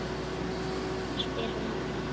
spyr hann ákafur.